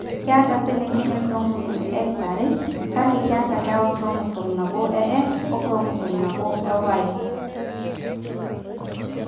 Keeta iselengen inchromosomes e X are, kake keeta ilewa enchromosome nabo o enchromosome e Y nabo.